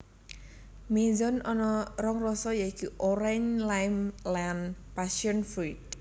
Mizone ana rong rasa yiku Orange lime lan Passion fruit